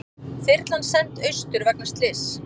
Þyrlan send austur vegna slyss